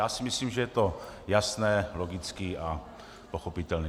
Já si myslím, že je to jasné, logické a pochopitelné.